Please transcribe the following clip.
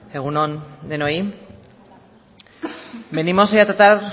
egun on denoi venimos hoy a tratar